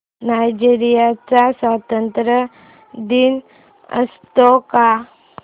Nigeria चा स्वातंत्र्य दिन असतो का